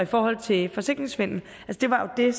forhold til forsikringssvindel det var jo det